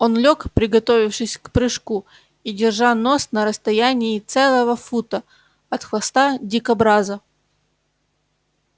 он лёг приготовившись к прыжку и держа нос на расстоянии целого фута от хвоста дикобраза